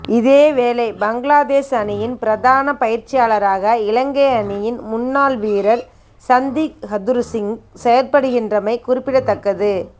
இதேவேளை பங்களாதேஸ் அணியின் பிரதான பயிற்சியாளராக இலங்கை அணியின் முன்னாள் வீரர் சந்திக் ஹதுருசிங்க செயற்படுகின்றமை குறிப்பிடத்தக்கது